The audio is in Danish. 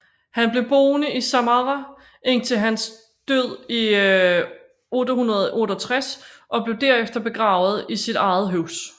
Han blev boende i Sāmarrāʿ indtil hans død i 868 og blev derefter begravet i sit eget hus